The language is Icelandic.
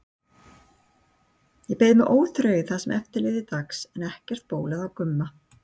Ég beið með óþreyju það sem eftir lifði dags en ekkert bólaði á Gumma.